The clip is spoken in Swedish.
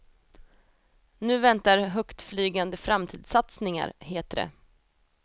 Nu väntar högtflygande framtidssatsningar, heter det.